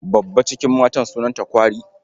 Babba cikin matan sunanta kwari.